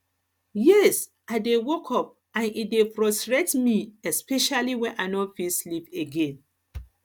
yes i dey wake up and e dey frustrate me especially when i no fit sleep again